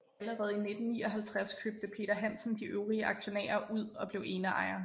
Allerede i 1959 købte Peder Hansen de øvrige aktionærer ud og blev eneejer